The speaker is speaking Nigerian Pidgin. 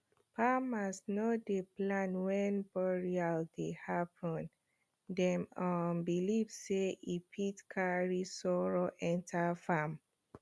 farmers no dey plant when burial dey happen dem um believe sey e fit carry sorrow enter farm